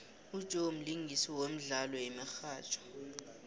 ujoe mlingisi wemdlalo yemihatjho